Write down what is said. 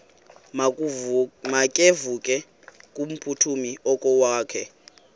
makevovike kumphuthumi okokwakhe